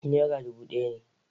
Nera dubu ɗaya ne.